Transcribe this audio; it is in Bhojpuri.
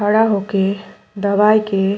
खड़ा होके दवाई के --